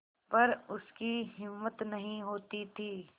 पर उसकी हिम्मत नहीं होती थी